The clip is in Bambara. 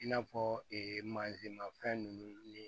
I n'a fɔ ee mafɛn ninnu ni